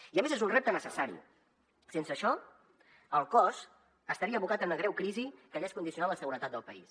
i a més és un repte necessari sense això el cos estaria abocat a una greu crisi que hagués condicionat la seguretat del país